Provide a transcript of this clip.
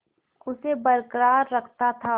उसे बर्राक रखता था